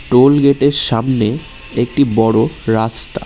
Toll gate -এর সামনে একটি বড়ো রাস্তা।